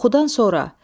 Oxudan sonra.